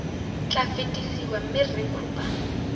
tla fetisiwa mme rre cooper